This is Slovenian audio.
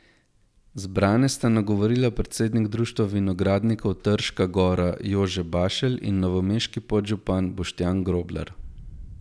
Zbrane sta nagovorila predsednik Društva vinogradnikov Trška Gora Jože Bašelj in novomeški podžupan Boštjan Groblar.